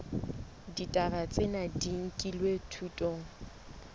ditaba tsena di nkilwe thutong